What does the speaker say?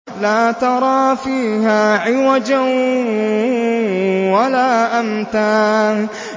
لَّا تَرَىٰ فِيهَا عِوَجًا وَلَا أَمْتًا